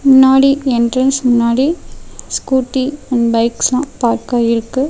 முன்னாடி என்ட்ரன்ஸ் முன்னாடி Scooty and பைக்ஸ்லா பார்க்காயிருக்கு.